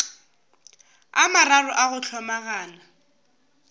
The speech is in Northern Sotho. a mararo a go hlomagana